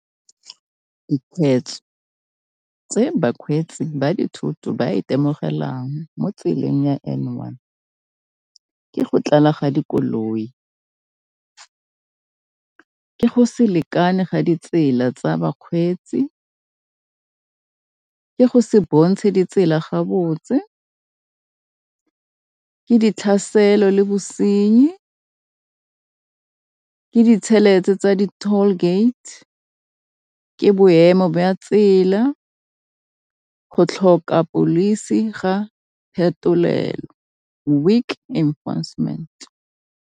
Dikgweetso tse bakgweetsi ba dithoto ba itemogelang mo tseleng ya N one, ke go tlala ga dikoloi, ke go se lekane ga ditsela tsa bakgweetsi, ke go se bontshe ditsela ga botse, ke ditlhaselo le bosenyi, ke ditšhelete tsa di-toll gate, ke boemo tsela, go tlhoka pholisi ga phetolelo, weak enforcement.